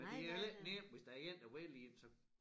Men det jo heller ikke nemt hvis der én der vil ind så